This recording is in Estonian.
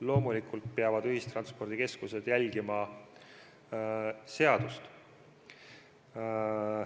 Loomulikult peavad ühistranspordikeskused järgima seadust.